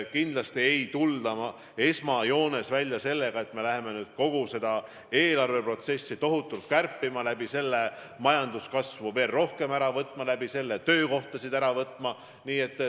Kindlasti ei tulda esmajoones välja sellega, et me hakkame kogu eelarvet tohutult kärpima ja sel moel majanduskasvu veel rohkem pidurdama ja töökohtasid kaotama.